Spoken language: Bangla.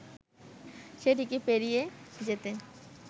সেটিকে পেরিয়ে যেতে